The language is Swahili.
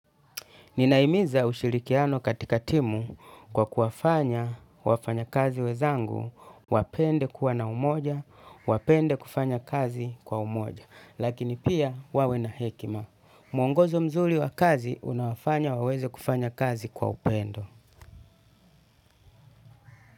Ninahimiza ushirikiano katika timu kwa kuwafanya wafanyakazi wenzangu wapende kuwa na umoja, wapende kufanya kazi kwa umoja, lakini pia wawe na hekima. Mwongozo mzuri wa kazi unawafanya waweze kufanya kazi kwa upendo.